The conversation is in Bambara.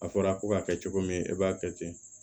A fɔra ko ka kɛ cogo min e b'a kɛ ten